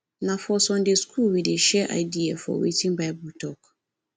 na for sunday school we dey share idea for wetin bible tok